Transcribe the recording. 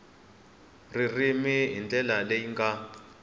ririmi hi ndlela leyi nga